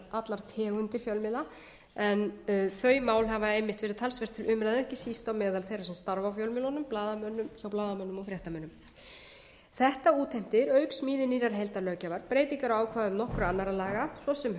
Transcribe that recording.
allar tegundir fjölmiðla en þau mál hafa einmitt verið talsvert til umræðu ekki síst á meðal þeirra sem starfa á fjölmiðlunum hjá blaðamönnum og fréttamönnum þetta útheimtir auk smíði nýrrar heildarlöggjafar breytingar á ákvæðum nokkurra annarra laga svo sem